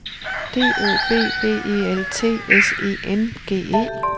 D O B B E L T S E N G E